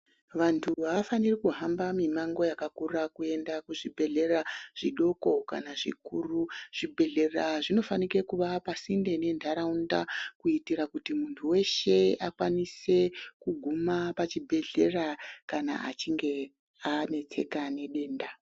Vantu havafaniri kuhamba mimango yakakura kuenda kuzvibhedhlera zvidoko kana zvikuru zvibhedhlera zvinofanike kuva pasinde nentaraunda. Kuitire kuti muntu veshe akwanise kuguma pachibhedhlera kana achinge anetseka nedenda.